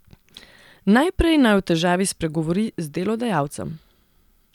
Najprej naj o težavi spregovori z delodajalcem.